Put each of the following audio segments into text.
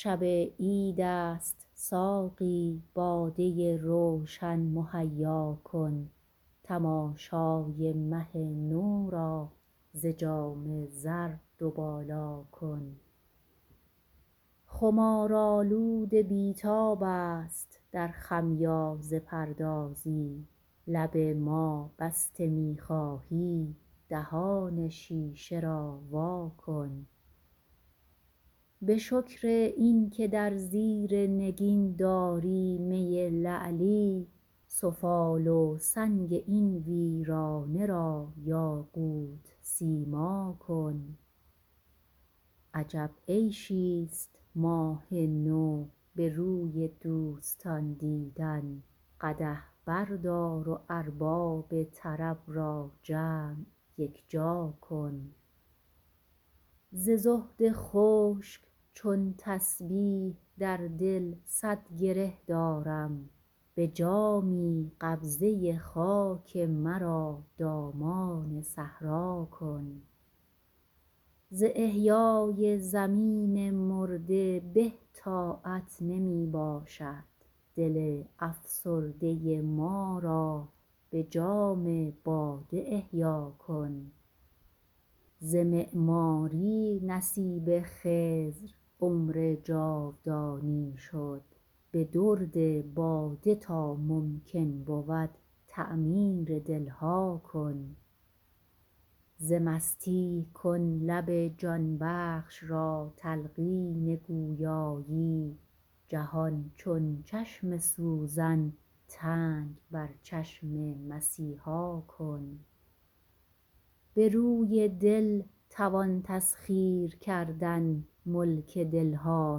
شب عیدست ساقی باده روشن مهیا کن تماشای مه نو را ز جام زر دو بالا کن خمارآلود بی تاب است در خمیازه پردازی لب ما بسته می خواهی دهان شیشه را وا کن به شکر این که در زیر نگین داری می لعلی سفال و سنگ این ویرانه را یاقوت سیما کن عجب عیشی است ماه نو به روی دوستان دیدن قدح بردار و ارباب طرب را جمع یک جا کن ز زهد خشک چون تسبیح در دل صد گره دارم به جامی قبضه خاک مرا دامان صحرا کن ز احیای زمین مرده به طاعت نمی باشد دل افسرده ما را به جام باده احیا کن ز معماری نصیب خضر عمر جاودانی شد به درد باده تا ممکن بود تعمیر دلها کن ز مستی کن لب جان بخش را تلقین گویایی جهان چون چشم سوزن تنگ بر چشم مسیحا کن به روی دل توان تسخیر کردن ملک دلها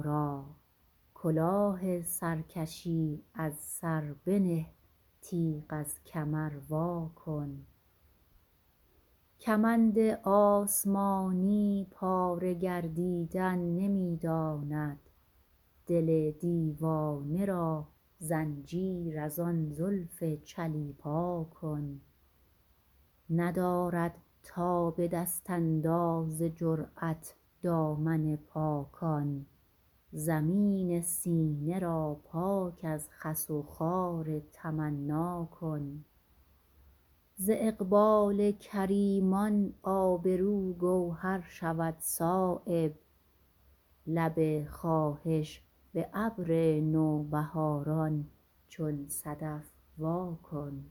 را کلاه سرکشی از سر بنه تیغ از کمر وا کن کمند آسمانی پاره گردیدن نمی داند دل دیوانه را زنجیر ازان زلف چلیپا کن ندارد تاب دست انداز جرأت دامن پاکان زمین سینه را پاک از خس وخار تمنا کن ز اقبال کریمان آبرو گوهر شود صایب لب خواهش به ابر نوبهاران چون صدف وا کن